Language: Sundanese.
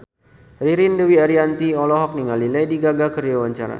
Ririn Dwi Ariyanti olohok ningali Lady Gaga keur diwawancara